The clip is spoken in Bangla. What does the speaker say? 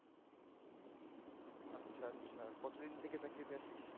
আচ্ছা আচ্ছা কতদিন থেকে চাকরিতে আছিস?